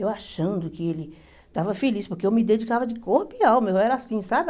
Eu achando que ele estava feliz, porque eu me dedicava de corpo e alma, eu era assim, sabe?